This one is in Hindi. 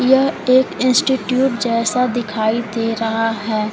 यह एक इंस्टिट्यूट जैसा दिखाई दे रहा है।